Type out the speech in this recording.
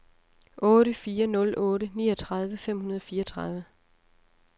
otte fire nul otte niogtredive fem hundrede og fireogtredive